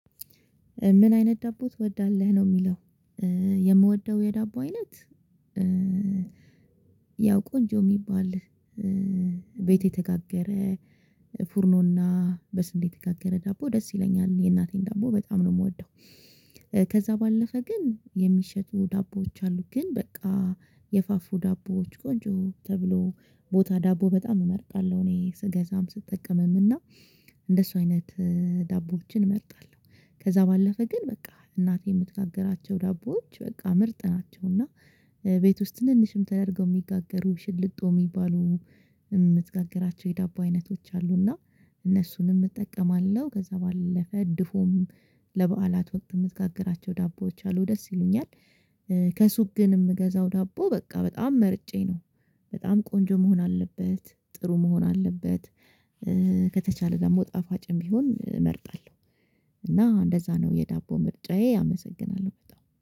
ምን አይነት ዳቦ ትወዳለህ ነው የሚለው? የምወደው የዳቦ አይነት ያው ቆንጆ የሚባል ቤት የተጋገረ ፉርኖና በስንዴ የተጋገረ ዳቦ ደስ ይለኛል የእናቴን ዳቦ በጣም ነው የምወደው። ከዛ ባለፈ ግን የሚሸጡ ዳቦዎች አሉ ግን በቃ የፋፉ ዳቦዎች ቆንጆ ተብሎ ቦታ ዳቦ በጣም እመርጣለሁ እኔ ስገዛም ስጠቀምም እና እንደሱ አይነት ዳቦዎችን እመርጣለሁ። ከዛ ባለፈ ግን በቃ እናቴ የምትጋግራቸው ዳቦዎች በቃ ምርጥ ናቸው እና ቤት ውስጥ ትንንሽም ተደርገው የሚጋገሩ ሽልጦ የሚባሉ የምትጋግራቸው የዳቦ አይነቶች አሉና እነሱንም እጠቀማለሁ። ከዛ ባለፈ ድፉም ለበዓላት ወቅት የምትጋግራቸው ዳቦዎች አሉ ደስ ይሉኛል። ከሱ ግን የምገዛው ዳቦ በቃ በጣም መርጬ ነው። በጣም ቆንጆ መሆን አለበት ጥሩ መሆን አለበት ከተቻለ ደግሞ ጣፋጭም ቢሆን እመርጣለሁ። እና እንደዛ ነው የዳቦ ምርጫዬ አመሰናለሁ